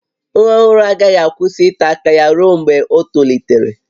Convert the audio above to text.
Nwa ọhụrụ agaghị akwụsị ịta aka ya ruo mgbe o tolitere